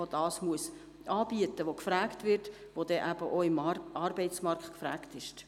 Sie muss das anbieten, was auf dem Arbeitsmarkt gefragt ist.